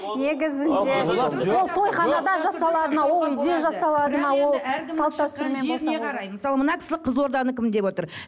мысалы мына кісі қызылорданікімін деп отыр